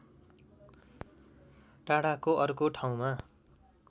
टाढाको अर्को ठाउँमा